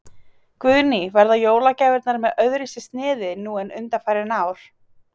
Guðný: Verða jólagjafirnar með öðruvísi sniði nú en undanfarin ár?